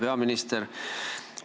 Hea peaminister!